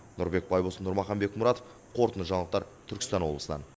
нұрбек байбосын нұрмахан бекмұратов қорытынды жаңалықтар түркістан облысынан